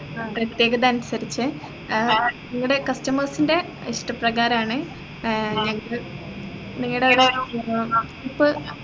പ്രതേകത അനുസരിച് ഏർ നിങ്ങടെ customers ൻറെ ഇഷ്ടപ്രകാരാണ് ഏർ ഞങ്ങക്ക് നിങ്ങടെ ഒരു ഏർ ഇപ്പൊ